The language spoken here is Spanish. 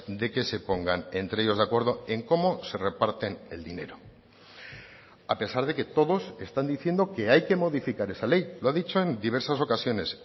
de que se pongan entre ellos de acuerdo en cómo se reparten el dinero a pesar de que todos están diciendo que hay que modificar esa ley lo ha dicho en diversas ocasiones